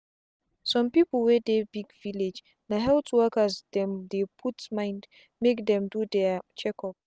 some people wey dey big villagena health workers dem dey put mindmake dem do their check up.